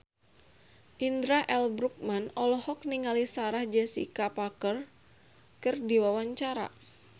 Indra L. Bruggman olohok ningali Sarah Jessica Parker keur diwawancara